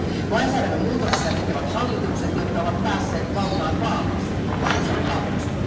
Lainsäädännön muutoksia tekevät hallitukset, jotka ovat päässeet valtaan vaaleissa kansan tahdosta.